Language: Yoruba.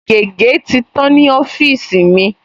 Gègé̀ ti tán ní ọ́fíìsì mi